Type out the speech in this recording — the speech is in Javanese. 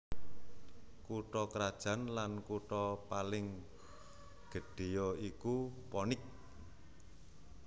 Kutha krajan lan kutha paling gedhéya iku Phoenix